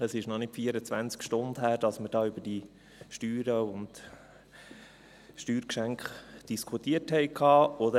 Es ist noch keine 24 Stunden her, dass wir hier über die Steuern und über die Steuergeschenke diskutiert haben.